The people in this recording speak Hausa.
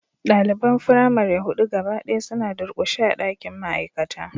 Daliban firamare hudu gaba daya suna durkushe a dakin ma'aikata